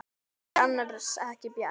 Finnst þér annars ekki bjart?